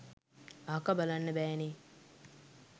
අහක බලන්න බෑ නේ